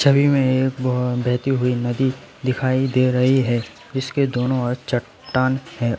छवि में एक बह बहती हुई नदी दिखाई दे रही है जिसके दोनों ओर चट्टान है और--